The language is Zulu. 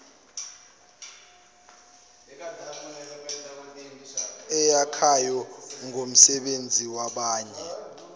eyakhayo ngomsebenzi wabanye